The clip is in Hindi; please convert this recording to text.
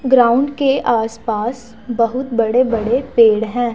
ग्राउंड के आस पास बहुत बड़े बड़े पेड़ है।